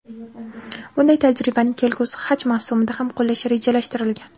Bunday tajribani kelgusi haj mavsumida ham qo‘llash rejalashtirilgan.